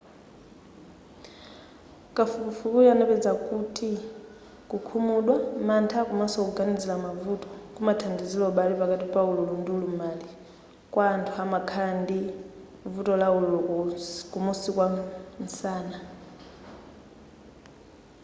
kafukufukuyu anapeza kuti kukhumudwa mantha komanso kuganizila mavuto kumathandizila ubale pakati pa ululu ndi ulumali kwa anthu amakhala ndi vuto la ululu kumusi kwa nsana